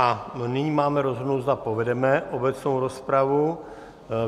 A nyní máme rozhodnout, zda povedeme obecnou rozpravu.